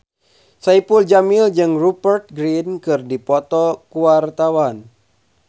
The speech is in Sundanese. Saipul Jamil jeung Rupert Grin keur dipoto ku wartawan